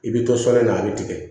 I bɛ to sɔɔni na a bɛ tigɛ